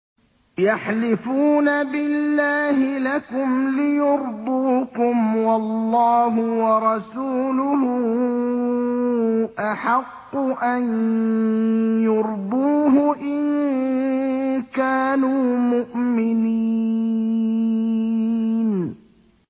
يَحْلِفُونَ بِاللَّهِ لَكُمْ لِيُرْضُوكُمْ وَاللَّهُ وَرَسُولُهُ أَحَقُّ أَن يُرْضُوهُ إِن كَانُوا مُؤْمِنِينَ